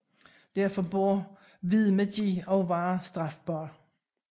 Derfor burde hvid magi også være strafbar